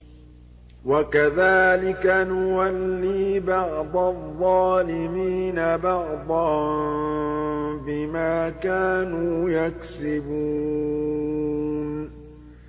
وَكَذَٰلِكَ نُوَلِّي بَعْضَ الظَّالِمِينَ بَعْضًا بِمَا كَانُوا يَكْسِبُونَ